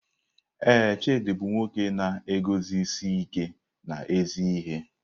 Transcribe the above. Ee, Chidi bụ nwoke na-eguzosi ike n'ezi ihe.